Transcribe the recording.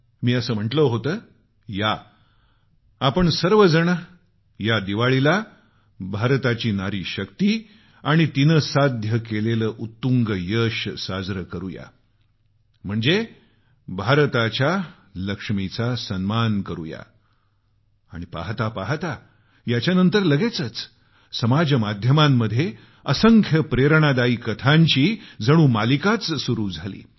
मी अस म्हटलं होतं या आपण सर्व जण या दिवाळीला भारताची नारी शक्ती आणि तिनं साध्य केलेले उत्तुंग यश साजरं करू या म्हणजे भारताच्या लक्ष्मीचा सन्मान आणि पाहता पाहता याच्यानंतर लगेचच समाज माध्यमांमध्ये असंख्य प्रेरणादायी कथांची रास लागली